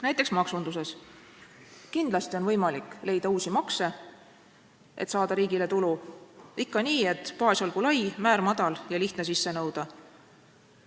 Näiteks maksundus: kindlasti on võimalik leida uusi makse, et saada riigile tulu, ikka nii, et baas olgu lai, määr madal ja lihtne sisse nõuda.